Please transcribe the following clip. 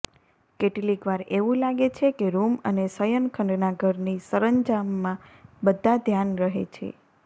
કેટલીકવાર એવું લાગે છે કે રૂમ અને શયનખંડના ઘરની સરંજામમાં બધા ધ્યાન રહે છે